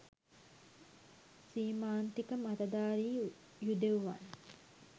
සීමාන්තික මතධාරී යුදෙවුවන්